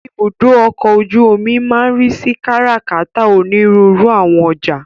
Ibùdó ọkọ̀ ojú omi máa ń ríi sí kárà-kàtà onírúurú àwọn ọjà.